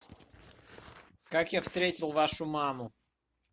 как я встретил вашу маму